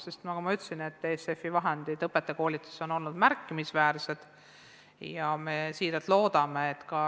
Nagu ma juba ütlesin, on ESF-i vahendid õpetajakoolituses olnud märkimisväärsed ja me siiralt loodame sealt abi.